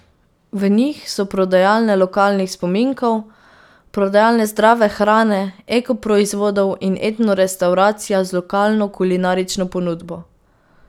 V njih so prodajalne lokalnih spominkov, prodajalne zdrave hrane, eko proizvodov in etno restavracija z lokalno kulinarično ponudbo.